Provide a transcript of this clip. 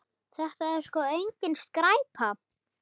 Þetta er sko engin skræpa.